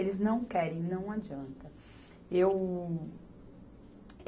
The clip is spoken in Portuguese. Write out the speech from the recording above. Eles não querem, não adianta. Eu